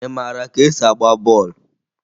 Ị mara ka esi agba bọọlụ?